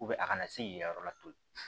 a kana se k'i yɛrɛ latulu